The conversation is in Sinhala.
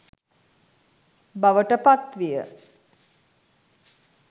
බවට පත්විය.